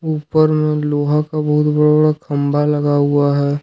ऊपर में लोहा का बहुत बड़ा बड़ा खंभा लगा हुआ है।